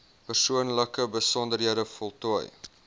persoonlike besonderhede voltooi